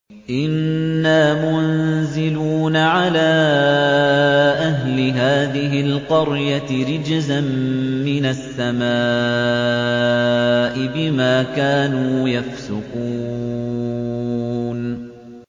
إِنَّا مُنزِلُونَ عَلَىٰ أَهْلِ هَٰذِهِ الْقَرْيَةِ رِجْزًا مِّنَ السَّمَاءِ بِمَا كَانُوا يَفْسُقُونَ